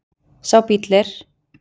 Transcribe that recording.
Sá bíll er